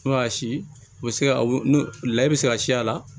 N'o y'a si u bɛ se ka layɛ i bɛ se ka si a la